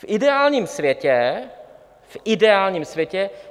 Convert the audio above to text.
V ideálním světě - v ideálním světě!